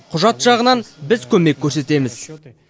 құжат жағынан біз көмек көрсетеміз